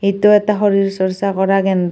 ইটো এটা শৰীৰ চৰ্চা কৰা কেন্দ্ৰ।